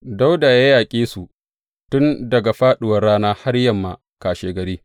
Dawuda ya yaƙe su tun daga fāɗuwar rana har yammar kashegari.